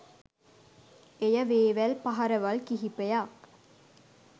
එය වේවැල් පහරවල් කිහිපයක්